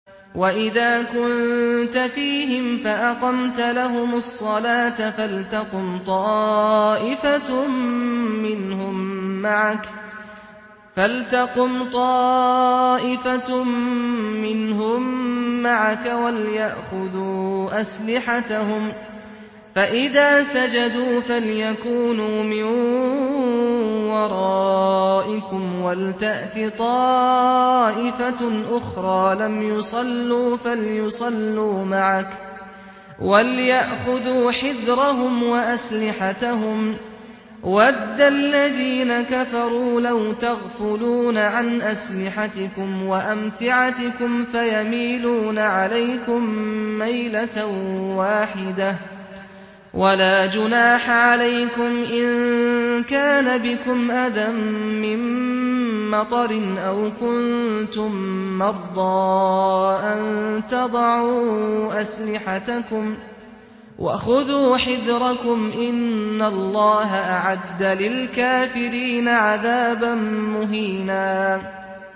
وَإِذَا كُنتَ فِيهِمْ فَأَقَمْتَ لَهُمُ الصَّلَاةَ فَلْتَقُمْ طَائِفَةٌ مِّنْهُم مَّعَكَ وَلْيَأْخُذُوا أَسْلِحَتَهُمْ فَإِذَا سَجَدُوا فَلْيَكُونُوا مِن وَرَائِكُمْ وَلْتَأْتِ طَائِفَةٌ أُخْرَىٰ لَمْ يُصَلُّوا فَلْيُصَلُّوا مَعَكَ وَلْيَأْخُذُوا حِذْرَهُمْ وَأَسْلِحَتَهُمْ ۗ وَدَّ الَّذِينَ كَفَرُوا لَوْ تَغْفُلُونَ عَنْ أَسْلِحَتِكُمْ وَأَمْتِعَتِكُمْ فَيَمِيلُونَ عَلَيْكُم مَّيْلَةً وَاحِدَةً ۚ وَلَا جُنَاحَ عَلَيْكُمْ إِن كَانَ بِكُمْ أَذًى مِّن مَّطَرٍ أَوْ كُنتُم مَّرْضَىٰ أَن تَضَعُوا أَسْلِحَتَكُمْ ۖ وَخُذُوا حِذْرَكُمْ ۗ إِنَّ اللَّهَ أَعَدَّ لِلْكَافِرِينَ عَذَابًا مُّهِينًا